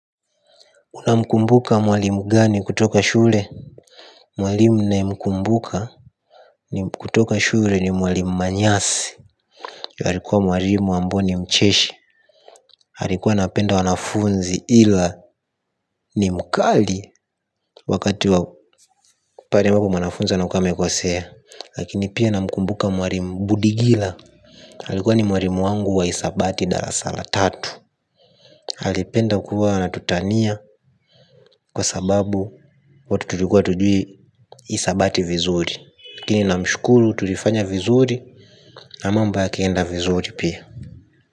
Una mkumbuka mwalimu gani kutoka shule? Mwalimu nayemkumbuka kutoka shule ni mwalimu manyasi. Yalikuwa mwalimu amboni mcheshi. Halikuwa apenda wanafunzi ila ni mkali. Wakati wa pahali ambapo mwanafunzi anakuwa amekosea lakini pia namkumbuka mwalimu budigila alikuwa ni mwalimu wangu wa hisabati darasa la tatu alipenda kuwa anatutania kwa sababu watu tulikuwa hatujui hisabati vizuri lakini namshkuru tulifanya vizuri. Na mambo yakaenda vizuri pia.